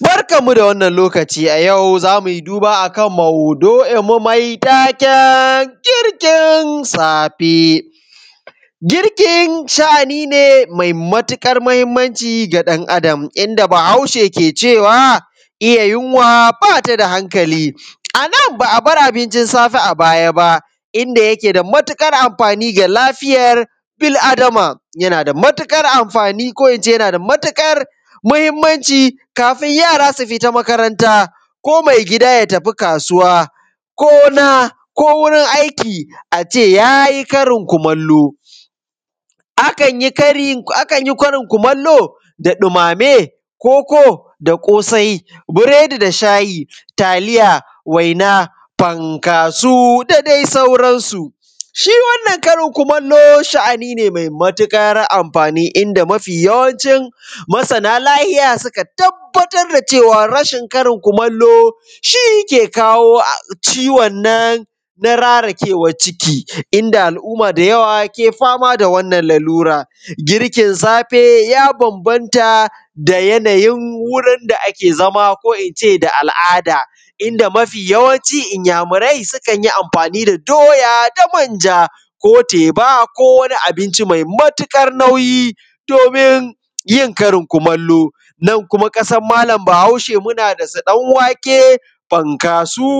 Barkanmu da wannan lokaci a yau zamu yi duba akan maudu’inmu mai taken girkin safe, girkin sha’ani ne mai matuƙar mahimmanci ga ɗan Adam, inda Bahaushe ke cewa (iya yunwa bata da hankali) Annan ba a bar abincin safe a baya ba, inda yake da matuƙar amfani ga lafiyar bil adama, yana da matuƙar amfani ko ince yana da matuƙar mahimmanci kafin yara su fita makaranta, ko mai gida ya fita kasuwa, ko na, ko wurin aiki, ace ya yi karin kumallo. Akan yi karin kumallo da ɗumame, koko, da ƙosai, biredi da shayi, taliya, waina, fankaso da dai sauransu. Shi wannan karin kumallo sha’ani ne me matuƙar amfani inda mafi yawancin masana lahiya suka tabbatar da cewa rashin karin kumallo shi ke kowo ciwon nan na rarakewar ciki, inda al’umma da yawa ke fama da wannan lalura. Girkin safe ya bambamta da yanayin wurin da ake zama ko ince da al’ada, inda mafi yawanci inyamurai sukan yi amfani da doya da manja, ko teba, ko wani abinci mai matuƙar nauyi domin yin karin kumallo. Nan kuma kasan malam Bahaushe muna da su ɗanwake, fankaso,